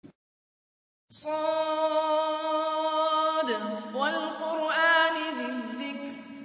ص ۚ وَالْقُرْآنِ ذِي الذِّكْرِ